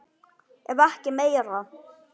Ef ekki meira.